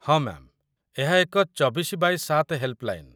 ହଁ ମ୍ୟାମ୍‌, ଏହା ଏକ ୨୪x୭ ହେଲ୍‌ପ୍‌ଲାଇନ୍‌ |